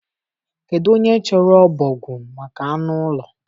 Kedu onye chọrọ ọbọgwụ maka anụ ụlọ